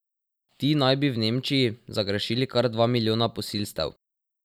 Ti naj bi v Nemčiji zagrešili kar dva milijona posilstev.